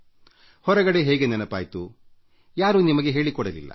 ಹೊರಗಡೆ ಹೇಗೆ ನೆನಪಾಯ್ತು ಯಾರೂ ನಿಮಗೆ ಹೇಳಿಕೊಡಲಿಲ್ಲ